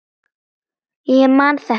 Ég man þetta ekki.